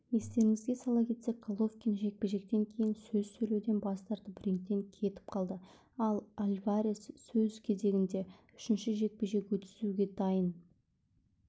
естеріңізге сала кетсек головкин жекпе-жектен кейін сөз сөйлеуден бас тартып рингтен кетіп қалды ал альварес өз кезегінде үшінші жекпе-жек өткізуге дайын